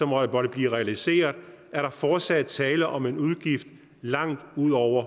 måtte blive realiseret er der fortsat tale om en udgift langt ud over